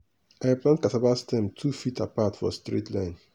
i plant cassava stem two feet apart for straight line.